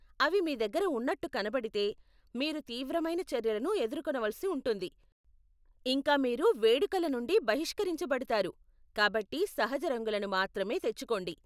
అవి మీ దగ్గర ఉన్నట్టు కనపడితే, మీరు తీవ్రమైన చర్యలను ఎదుర్కొనవలసి ఉంటుంది, ఇంకా మీరు వేడుకలనుండి బహిష్కరించబడతారు, కాబట్టి సహజ రంగులను మాత్రమే తెచ్చుకోండి.